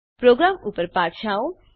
programme ઉપર પાછા આવો